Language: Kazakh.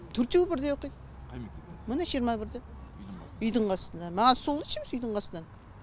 төртеуі бірдей оқиды міне жиырма бірде үйдің қасында маған үйдің қасынан